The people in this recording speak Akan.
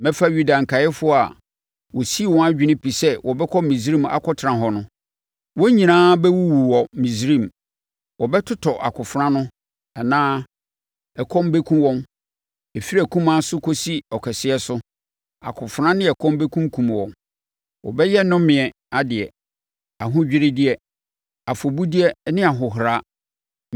Mɛfa Yuda nkaeɛfoɔ a wɔsii wɔn adwene pi sɛ wɔbɛkɔ Misraim akɔtena hɔ no. Wɔn nyinaa bɛwuwu wɔ Misraim; wɔbɛtotɔ akofena ano anaa ɛkɔm bɛkum wɔn. Ɛfiri akumaa so kɔsi ɔkɛseɛ so, akofena ne ɛkɔm bɛkunkum wɔn. Wɔbɛyɛ nnomedeɛ, ahodwiredeɛ, afɔbudeɛ ne ahohora.